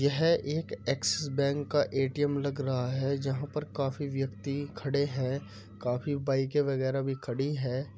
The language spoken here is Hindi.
यह एक एक्सिस बैंक का एटीएम लग रहा है जहाँ पर काफी व्यक्ति खड़े हैं काफी बाइके वगैरह भी खड़ी हैं।